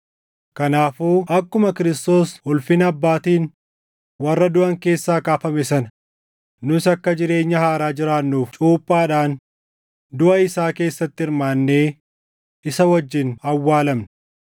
Kanaafuu akkuma Kiristoos ulfina Abbaatiin warra duʼan keessaa kaafame sana nus akka jireenya haaraa jiraannuuf cuuphaadhaan duʼa isaa keessatti hirmaannee isa wajjin awwaalamne.